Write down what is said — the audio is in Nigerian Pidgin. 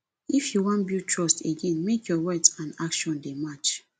if you wan build trust again make your words and actions dey match